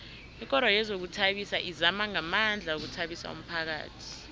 ikoro yezokuzithabisa izama ngamandla ukuthabisa umphakhathi